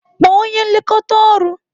Kpọọ onye nlekọta ọrụ!